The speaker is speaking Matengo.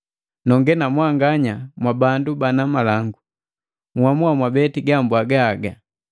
Nonge na mwanganya mwa bandu bana malangu, nhamua mwabeti gabwaga haga.